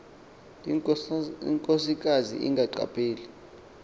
inkosikazi ingaqa pheli